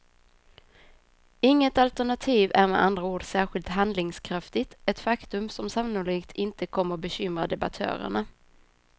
Inget alternativ är med andra ord särskilt handlingskraftigt, ett faktum som sannolikt inte kommer bekymra debattörerna.